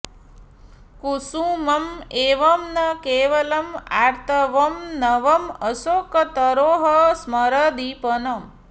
कुसुमं एव न केवलं आर्तवं नवं अशोकतरोः स्मरदीपनं